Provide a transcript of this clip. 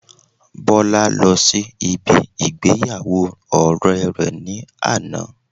Bola lọ sí ibi ìgbéyàwó ọ̀rẹ́ rẹ ní àná